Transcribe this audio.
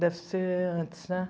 Deve ser antes, né?